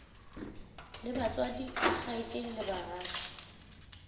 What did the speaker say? le batswadi dikgaetšedi le bagatša